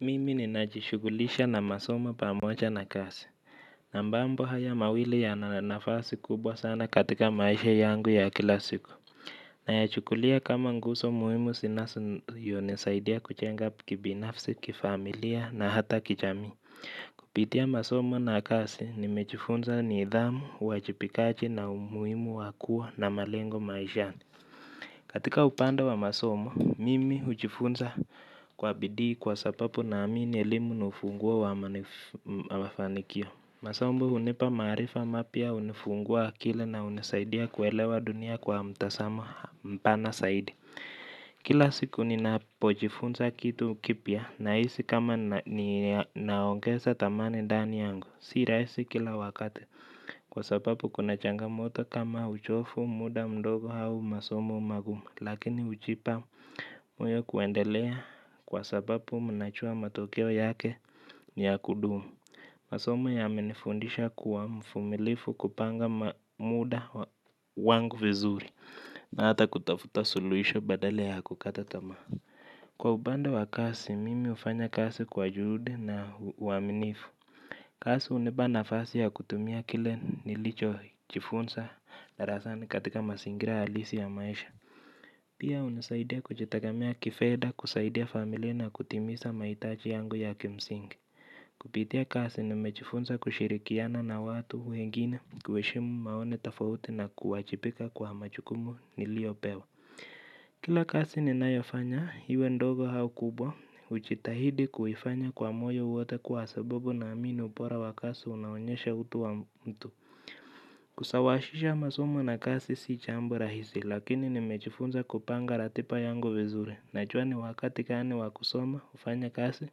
Mimi ni najishugulisha na masomo pamoja na kasi. Na mbambo haya mawili ya na nafasi kubwa sana katika maisha yangu ya kila siku. Na ya chukulia kama nguso muimu sinaso nisaidia kuchenga kibinafsi, kifamilia na hata kichami. Kupitia masomo na kasi ni mechifunza ni idhamu, uwajipikaji na umuimu wakua na malengo maishani. Katika upande wa masomo, mimi ujifunza kwa bidii kwa sapapu na amini elimu ni ufunguo wa manifanikio. Masombo hunipaa marifa mapya hunifungua akili na hunisaidia kuelewa dunia kwa mtazamo mpana zaidi. Kila siku ni napojifunza kitu kipia na isi kama ni naongesa tamani dani yangu. Sira isi kila wakati kwa sapapu kuna changa moto kama ujofu muda mdogo hau masomu magumu. Lakini ujipa moyo kuendelea kwa sabapu mnachua matokeo yake ni ya kudumu. Masomo ya menifundisha kuwa mfumilifu kupanga mamuda wangu vizuri na hata kutafuta suluisho badala ya kukatatama. Kwa upande wa kazi mimi hufanya kazi kwa juhudi na uaminifu. Kazi unipa nafasi ya kutumia kile nilichojifunza darasani katika mazingira halisi ya maisha. Pia unisaidia kujitegemea kifedha kusaidia familia na kutimiza mahitaji yangu ya kimsingi. Kupitia kazi nimejifunza kushirikiana na watu wengine kuheshimu maoni tofauti na kuwajibika kwa majukumu niliyopewa. Kila kazi ninayofanya iwe ndogo au kubwa hujitahidi kuifanya kwa moyo wote kwa sababu naamini ubora wa kazi unaonyesha utu wa mtu kusawazisha masomo na kazi sio jambo rahisi lakini nimejifunza kupanga ratiba yangu vizuri, najua ni wakati gani wa kusoma, kufanya kazi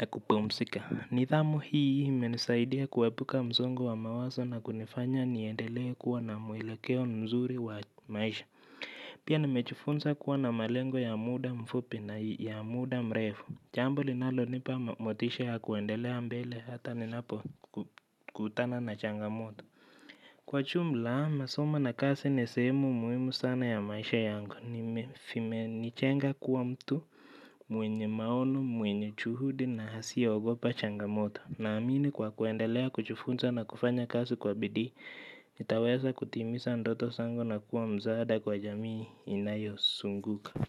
na kupumzika. Nidhamu hii imenisaidia kuepuka msongo wa mawazo na kunifanya niendelee kuwa na mwelekeo mzuri wa maisha. Pia nimejifunza kuwa na malengo ya muda mfupi na ya muda mrefu jambo linalonipa motisha ya kuendelea mbele hata ninapo kutana na changamoto. Kwa jumla, masomo na kazi ni sehemu muhimu sana ya maisha yangu. Vimenijenga kuwa mtu mwenye maono, mwenye juhudi na hasiyeogopa changamoto. Naamini kwa kuendelea, kujifunza na kufanya kazi kwa bidii, nitaweza kutimiza ndoto zangu na kuwa msaada kwa jamii inayosunguka.